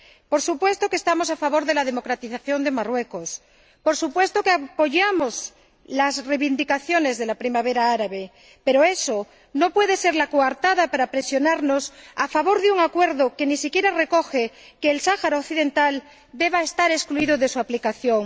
Por supuesto que estamos a favor de la democratización de Marruecos, por supuesto que apoyamos las reivindicaciones de la primavera árabe, pero eso no puede ser la coartada para presionarnos a votar a favor de un acuerdo que ni siquiera recoge que el Sáhara Occidental deba estar excluido de su aplicación.